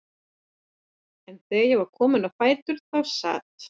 En þegar ég var komin á fætur þá sat